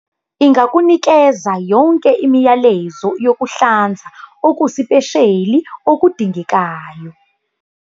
Ingakunikeza yonke imiyalezo yokuhlanza okusipesheli okudingekayo.